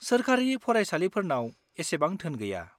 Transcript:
-सोरखारि फरायसालिफोरनाव एसेबां धोन गैया।